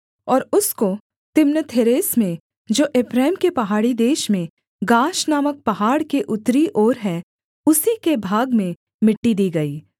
और उसको तिम्नथेरेस में जो एप्रैम के पहाड़ी देश में गाश नामक पहाड़ के उत्तरी ओर है उसी के भाग में मिट्टी दी गई